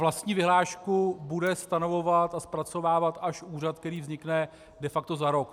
Vlastní vyhlášku bude stanovovat a zpracovávat až úřad, který vznikne de facto za rok.